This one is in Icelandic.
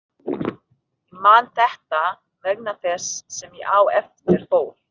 Ég man þetta vegna þess sem á eftir fór.